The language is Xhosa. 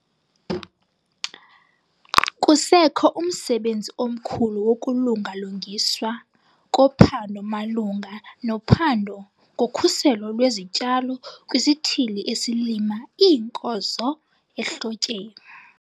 Kusekho umsebenzi omkhulu wokulunga-lungiswa kophando malunga nophando ngokhuselo lwezityalo kwisithili esilima iinkozo ehlotyeni.